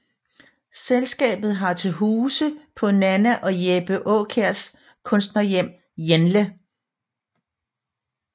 Selskabet har til huse på Nanna og Jeppe Aakjærs Kunstnerhjem Jenle